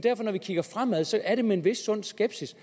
at det når vi kigger fremad så er med en vis sund skepsis